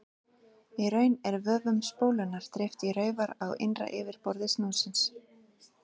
Í raun er vöfum spólunnar dreift í raufar á innra yfirborði snúðsins.